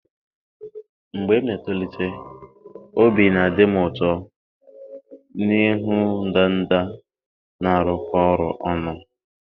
Mgbe m na-etolite, obi na-adị m ụtọ ịhụ ndanda na-arụkọ ọrụ ọnụ.